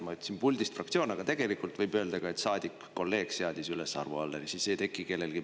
Ma ütlesin puldist fraktsioon, aga tegelikult võib öelda ka, et saadik ehk kolleeg seadis üles Arvo Alleri [kandidatuuri.